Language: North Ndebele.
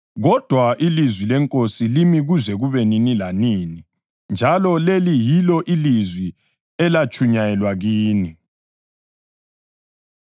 kodwa ilizwi leNkosi limi kuze kube nini lanini.” + 1.25 U-Isaya 40.6-8 Njalo leli yilo ilizwi elatshunyayelwa kini.